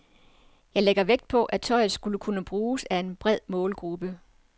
Jeg lægger vægt på, at tøjet skal kunne bruges af en bred målgruppe.